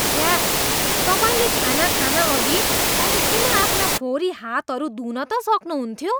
छ्या! तपाईँले खाना खानअघि कम्तीमा आफ्ना फोहोरी हातहरू धुन त सक्नुहुन्थ्यो।